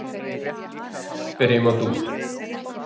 Byrjum á dúr.